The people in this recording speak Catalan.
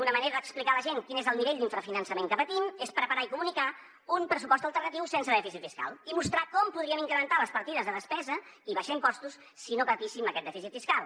una manera d’explicar a la gent quin és el nivell d’infrafinançament que patim és preparar i comunicar un pressupost alternatiu sense dèficit fiscal i mostrar com podríem incrementar les partides de despesa i abaixar impostos si no patíssim aquest dèficit fiscal